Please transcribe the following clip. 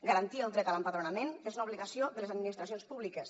garantir el dret a l’empadronament és una obligació de les administracions públiques